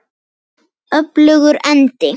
Öfugur endi.